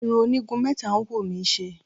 Irun onígun mẹ́ta ń wù mí ṣe.